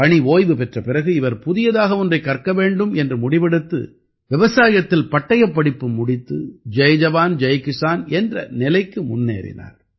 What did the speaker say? பணி ஓய்வு பெற்ற பிறகு இவர் புதியதாக ஒன்றைக் கற்க வேண்டும் என்று முடிவெடுத்து விவசாயத்தில் பட்டயப்படிப்பு முடித்து ஜய் ஜவான் ஜய் கிஸான் என்ற நிலைக்கு முன்னேறினார்